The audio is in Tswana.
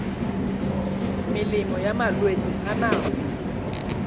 melemo ya malwetse a nako